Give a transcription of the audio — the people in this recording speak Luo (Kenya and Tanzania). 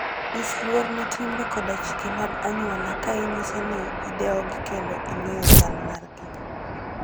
Nyis luor ne timbe koda chike mag anyuola ka inyiso ni idewogi kendo ing'eyo chal margi.